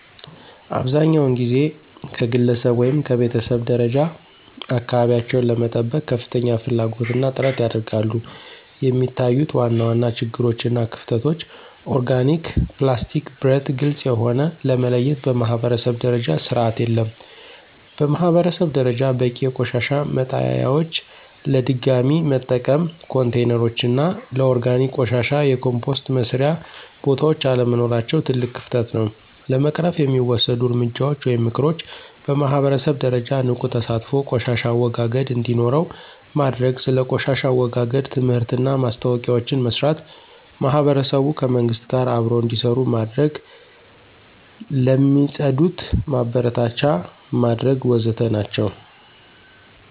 አብዛኛውን ጊዜ ከግለሰብ ወይም ከቤተሰብ ደረጃ አካባቢቸውን ለመጠበቅ ከፍተኛ ፍላጎት እና ጥረት ያደርጋሉ፣ የሚታዩት ዋና ዋና ችግሮች እና ክፍተቶች (ኦርጋኒክ፣ ፕላስቲክ፣ ብረት፣ ግልጽ የሆነ) ለመለየት በማኅበረሰብ ደረጃ ስርዓት የለም። በማህበረሰብ ደረጃ በቂ የቆሻሻ መጣሊያዎች፣ ለድገሚ መጠቀም ኮንቴይነሮች እና ለኦርጋኒክ ቆሻሻ የኮምፖስት መስሪያ ቦታዎች አለመኖራቸው ትልቅ ክፍተት ነው። ለመቅረፍ የሚወሰዱ እርምጃዎች (ምክሮች) በማህበረሰብ ደረጃ ንቁ ተሳትፎ ቆሻሻ አወጋገድ እንዴኖረው ማድርግ። ስለ ቆሻሻ አወጋገድ ትምህርትና ማስታወቂያዎችን መስራት። ማህበረሰቡ ከመንግሥት ጋር አብሮ እንዴሰሩ መድረግ። ለሚፅድት ማበረታቻ መድረግ ወዘተ ናቸው።